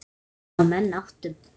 Vonandi ná menn áttum.